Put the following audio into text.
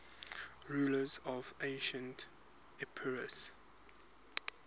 rulers of ancient epirus